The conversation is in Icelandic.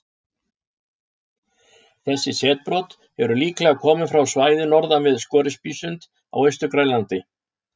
Þessi setbrot eru líklega komin frá svæði norðan við Scoresbysund á Austur-Grænlandi.